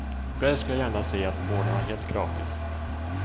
Själv skulle jag gärna se att vården var helt gratis.